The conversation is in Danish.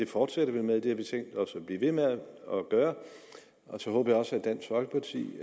fortsætter vi med det har vi tænkt os at blive ved med at gøre og så håber jeg også at dansk folkeparti